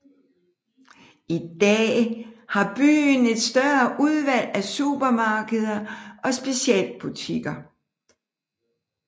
I dag har byen et større udvalg af supermarkeder og specialbutikker